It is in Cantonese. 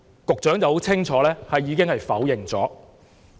局長很清楚地否認。